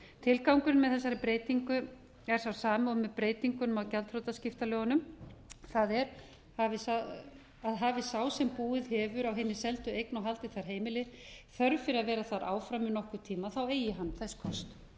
tilgangurinn með þessari breytingu er sá sami og með breytingunum gjaldþrotaskiptalögunum það er hafi sá sem búið hefur á hinni seldu eign og haldið þar heimili þörf fyrir að vera þar áfram í nokkurn tíma eigin hann þess kost